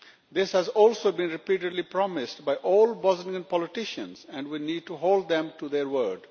This has also been repeatedly promised by all Bosnian politicians, and we need to hold them to their word.